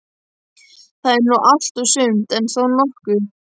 Það er nú allt og sumt, en þó nokkuð.